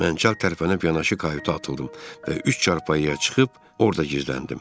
Mən çarpayanıb yanaşı kayuta atıldım və üç çarpayıya çıxıb orada gizləndim.